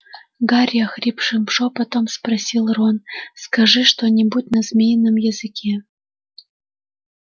гарри охрипшим шёпотом попросил рон скажи что-нибудь на змеином языке